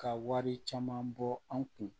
Ka wari caman bɔ an kun